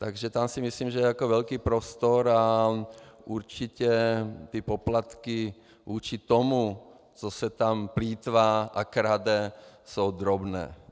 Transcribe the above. Takže tam si myslím, že je velký prostor a určitě ty poplatky proti tomu, co se tam plýtvá a krade, jsou drobné.